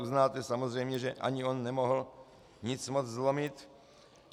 Uznáte samozřejmě, že ani on nemohl nic moc zlomit.